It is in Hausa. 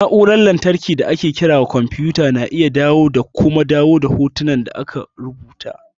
Na'urar lantarki da ake kira kwamfuta na iya adanawa da kuma dawo da hotuna tare da rubutu.